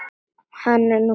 Hann er nú faðir þeirra.